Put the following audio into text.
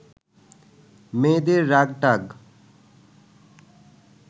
মেয়েদের রাগ টাগ